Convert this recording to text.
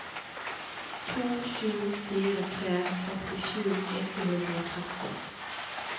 to sju fire tre sekstisju åtte hundre og tretti